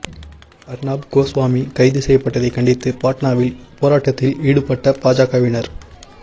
அர்னாப் கோஸ்வாமி கைது செய்யப்பட்டதைக் கண்டித்து பாட்னாவில் போராட்டத்தில் ஈடுபட்ட பாஜகவினர்